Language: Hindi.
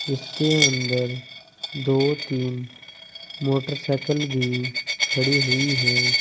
इसके अंदर दो तीन मोटरसाइकिल भी खड़ी हुई है।